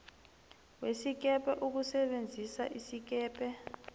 wesikebhe ukusebenzisa isikebhe